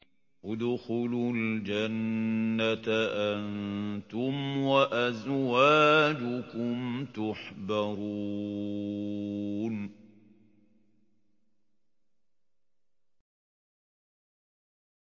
ادْخُلُوا الْجَنَّةَ أَنتُمْ وَأَزْوَاجُكُمْ تُحْبَرُونَ